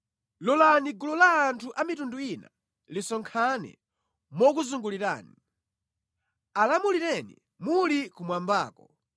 Lolani gulu la anthu a mitundu ina lisonkhane mokuzungulirani. Alamulireni muli kumwambako;